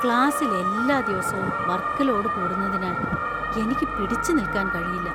ക്ലാസ്സിൽ എല്ലാ ദിവസവും വർക് ലോഡ് കൂടുന്നതിനാൽ എനിക്ക് പിടിച്ചുനിൽക്കാൻ കഴിയില്ല.